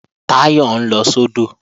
Táyọ̀ ń lọ sódò